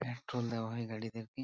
Petrol দেওয়া হয় গাড়ি দেখে।